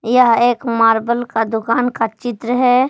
यह एक मार्बल का दुकान का चित्र है।